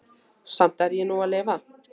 Samt er ég nú að lifa.